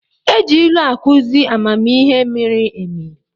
E ji ilu akụzi amamihe miri emi.